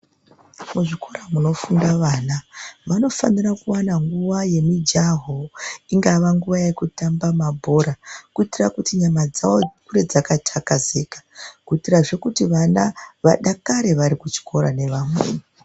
Muchikora munofunda vana vanofanira kuwana nguva yemijaho ingava nguva yekutamba mabhora kuitira kuti nyama dzavo dzive dzakatakazika kuitirazve vana vadakare varikuchikora nevamweni .